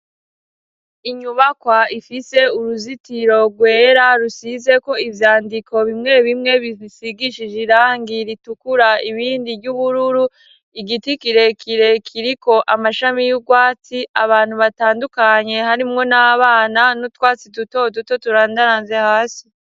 Inyubakwa ifise uruzitiro rwera rusizeko ivyandiko bimwe bimwe bisigishije irangi ritukura ibindi ry'ubururu igiti kirekirekiriko amashami y'urwatsi abantu batandukanye harimwo n'abana n'utwatsi duto duto turandaranze hasi.